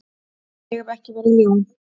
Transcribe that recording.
Ég hef ekki verið ljón.